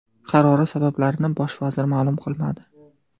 Qarori sabablarini bosh vazir ma’lum qilmadi.